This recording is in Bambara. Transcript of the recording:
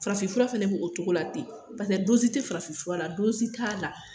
Farafin fura fɛnɛ bɛ o togo la ten, pase tɛ farafin fura, t' la.